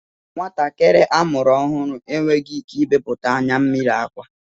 Nwatakịrị a mụrụ ọhụrụ enweghị ike ibepụta anyammiri akwa